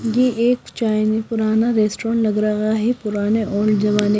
ये एक चायन पुराना रेस्टोरेंट लग रहा है पुराने ओल्ड जमाने--